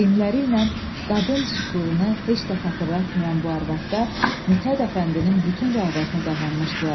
Geyimləri ilə qadın şıxlığını heç də xatırlatmayan bu arvadlar Mithət Əfəndinin bütün rəğbətini qazanmışdılar.